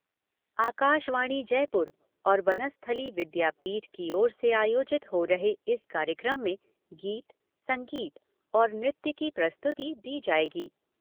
आकाशवाणी जयपुर और वनस्थली विद्यापीठ की ओर से आयोजित हो रहे इस कार्यक्रम में गीत, संगीत और नृत्य की प्रस्तुति दी जाएगी।